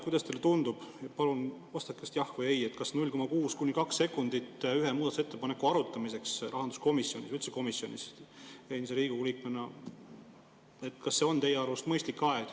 Kuidas teile tundub, endise Riigikogu liikmena, palun vastake jah või ei: kas 0,6–2 sekundit ühe muudatusettepaneku arutamiseks rahanduskomisjonis, üldse komisjonis, on teie arust mõistlik aeg?